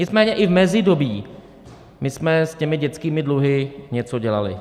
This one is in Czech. Nicméně i v mezidobí my jsme s těmi dětskými dluhy něco dělali.